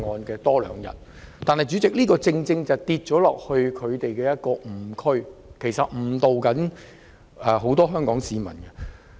然而，主席，這樣我們便會跌進一個誤區，他們誤導了很多香港市民。